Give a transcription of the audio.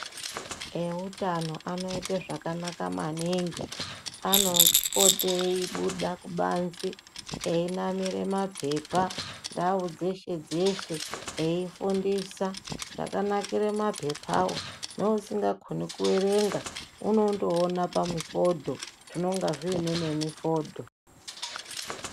Eutano anoite zvakanaka maningi, anopote eibuda kubanze einamire maphepa ndau dzeshe-dzeshe eifundisa zvakanakire maphepawo, neusingakoni kuerenga unondoone pamifodho, zvinonga zviine nemifodho.